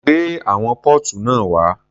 Gbé àwọn póòtù náà wá.